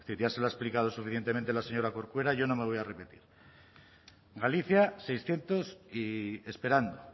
ya se lo ha explicado suficientemente la señora corcuera yo no me voy a repetir galicia seiscientos y esperando